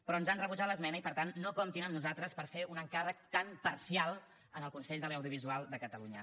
però ens han rebutjat l’esmena i per tant no comptin amb nosaltres per fer un encàrrec tan parcial al consell de l’audiovisual de catalunya